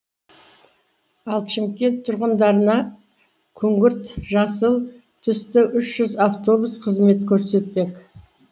ал шымкент тұрғындарына күңгірт жасыл түсті үш жүз автобус қызмет көрсетпек